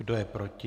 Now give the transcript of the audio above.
Kdo je proti?